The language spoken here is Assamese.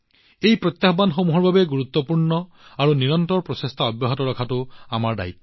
এই প্ৰত্যাহ্বানসমূহৰ বাবে গুৰুত্বপূৰ্ণ আৰু নিৰন্তৰ প্ৰচেষ্টা কৰাটো আমাৰ দায়িত্ব